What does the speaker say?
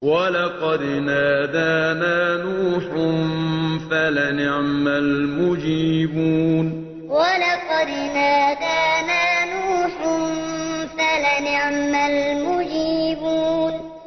وَلَقَدْ نَادَانَا نُوحٌ فَلَنِعْمَ الْمُجِيبُونَ وَلَقَدْ نَادَانَا نُوحٌ فَلَنِعْمَ الْمُجِيبُونَ